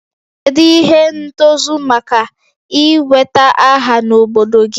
Kedu ihe ntozu maka ị nweta aha n'obodo gị?